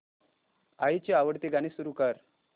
आईची आवडती गाणी सुरू कर